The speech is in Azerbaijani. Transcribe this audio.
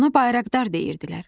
Ona bayraqdar deyirdilər.